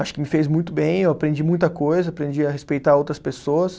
Acho que me fez muito bem, eu aprendi muita coisa, aprendi a respeitar outras pessoas.